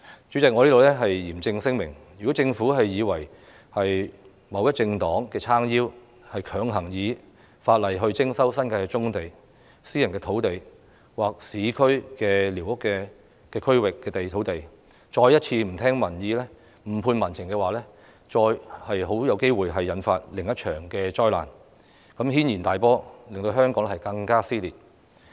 主席，我在此嚴正聲明，如果政府以為有某政黨撐腰，便強行引用法例徵收新界棕地、私人土地或市區寮屋區土地，再一次不聽民意、誤判民情的話，很有機會引發另一場災難，引起軒然大波，令香港更加撕裂。